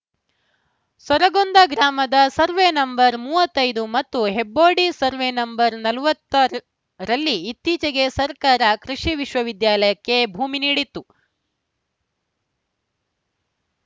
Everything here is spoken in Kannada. ಸೊರಗೊಂದಾ ಗ್ರಾಮದ ಸರ್ವೆ ನಂಬರ್ ಮೂವತ್ತೈದು ಮತ್ತು ಹೆಬ್ಬೋಡಿ ಸರ್ವೆ ನಂಬರ್ ನಲವತ್ತ ರಲ್ಲಿ ಇತ್ತೀಚೆಗೆ ಸರ್ಕಾರ ಕೃಷಿ ವಿಶ್ವವಿದ್ಯಾಲಯಕೆ ಭೂಮಿ ನೀಡಿತ್ತು